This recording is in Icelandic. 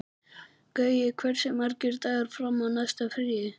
Gaui, hversu margir dagar fram að næsta fríi?